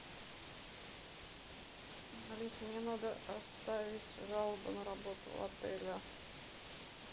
алиса мне надо оставить жалобу на работу отеля